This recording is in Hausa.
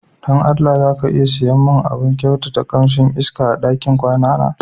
Don Allah, za ka iya siya mun abun kyautata kamsin iska ma ɗakin kwana na?